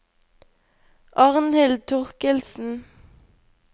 Arnhild Thorkildsen